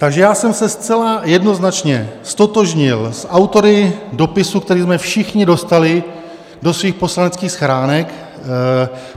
Takže já jsem se zcela jednoznačně ztotožnil s autory dopisu, který jsme všichni dostali do svých poslaneckých schránek.